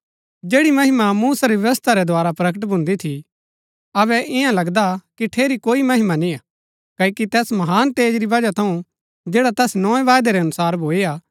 जैड़ी महिमा मूसा री व्यवस्था रै द्धारा प्रकट भून्दी थी अबै इन्या लगदा की ठेरी कोई महिमा निय्आ क्ओकि तैस महान तेज री वजह थऊँ जैड़ा तैस नोए वायदै रै अनुसार भूई हा